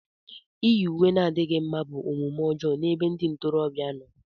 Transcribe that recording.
Íyì uwe na-adịghị mma bụ omume ọjọọ n'ebe ndị ntorobịa nọ.